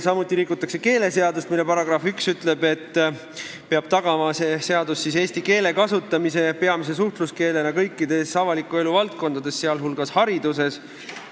Samuti rikutakse keeleseadust, mille § 1 ütleb, et see seadus peab tagama eesti keele kasutamise peamise suhtluskeelena kõikides avaliku elu valdkondades, sh hariduses.